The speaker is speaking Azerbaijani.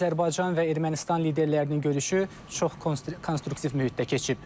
Azərbaycan və Ermənistan liderlərinin görüşü çox konstruktiv mühitdə keçib.